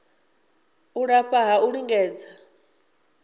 u lafha ha u lingedza